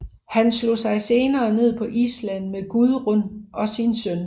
Han slog sig senere ned på Island med Gudrun og sin søn